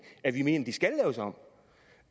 at vi mener